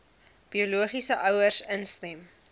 biologiese ouers instem